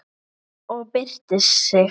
Og byrstir sig.